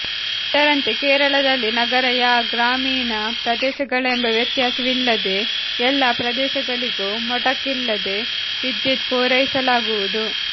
ಇದರಂತೆ ಕೇರಳದಲ್ಲಿ ನಗರ ಯಾ ಗ್ರಾಮೀಣ ಪ್ರದೇಶಗಳೆಂಬ ವ್ಯತ್ಯಾಸವಿಲ್ಲದೆ ಎಲ್ಲಾ ಪ್ರದೇಶಗಳಿಗೂ ಮೊಟಕಿಲ್ಲದೆ ವಿದ್ಯುತ್ ಪೂರೈಸಲಾಗುವುದು